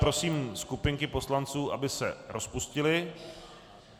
Prosím skupinky poslanců, aby se rozpustily.